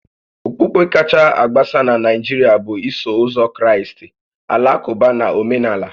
Okpukpe kacha agbasa na Naijiria bụ Iso Ụzọ Kraịst, Alakụba na Omenala